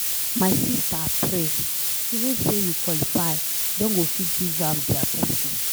My sister pray, even say you qualify den go fit give am their person.